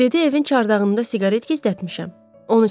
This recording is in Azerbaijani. Dedi evin çardağında siqaret gizlətmişəm, onu çəkəcəm.